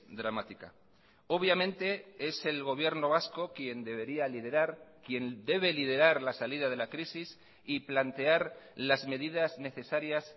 dramática obviamente es el gobierno vasco quien debería liderar quien debe liderar la salida de la crisis y plantear las medidas necesarias